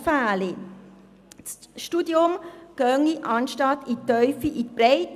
Das Studium gehe anstatt in die Tiefe in die Breite.